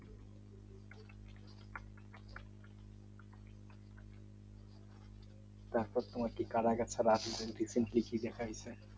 আচ্ছা তোমার কি কারাগার ছাড়া আরকি